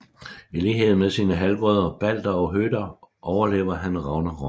I lighed med sine halvbrødre Balder og Høder overlever han Ragnarok